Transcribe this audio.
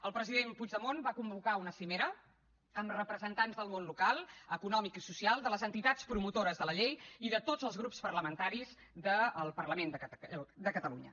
el president puigdemont va convocar una cimera amb representants del món local econòmic i social de les entitats promotores de la llei i de tots els grups parlamentaris del parlament de catalunya